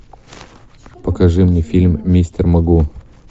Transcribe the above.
покажи мне фильм мистер могу